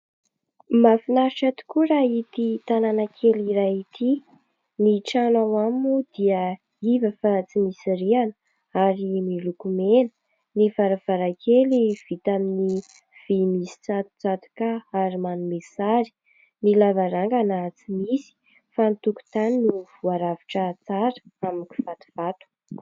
Mahafinaritra tokoa raha ity tanàna kely iray ity. Ny trano ao aminy moa dia iva fa tsy misy rihana ; ary miloko mena. Ny varavarankely vita amin'ny vy misy tsatotsatoka ary manome sary ; ny lavarangana tsy misy ; fa ny tokotany no voarafitra tsara amin'ny kivatovato.